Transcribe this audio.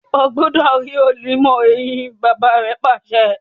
o gbúdọ̀ rí onímọ̀-eyín! bàbá pàṣẹ.